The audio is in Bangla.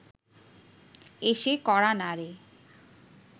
এসে কড়া নাড়ে